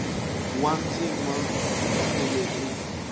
wa ndzima wu fanele ku